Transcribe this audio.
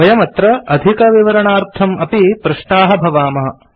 वयमत्र अधिकविवरणार्थम् अपि पृष्टाः भवामः